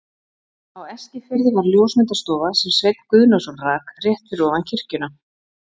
Á Eskifirði var ljósmyndastofa, sem Sveinn Guðnason rak, rétt fyrir ofan kirkjuna.